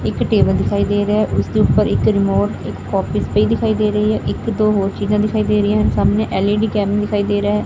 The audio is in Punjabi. ਇਕ ਟੇਬਲ ਦਿਖਾਈ ਦੇ ਰਿਹਾ ਹੈ ਉਸ ਦੇ ਉੱਪਰ ਇੱਕ ਰਿਮੋਟ ਇੱਕ ਕੋਪੀਜ਼ ਪਈ ਦਿਖਾਈ ਦੇ ਰਹੀ ਹੈ ਇੱਕ ਦੋ ਹੋਰ ਚੀਜ਼ਾਂ ਦਿਖਾਈ ਦੇ ਰਹੀਆਂ ਹਨ ਸਾਹਮਣੇ ਐਲਈਡੀ ਕੈਮ ਦਿਖਾਈ ਦੇ ਰਿਹਾ ਹੈ।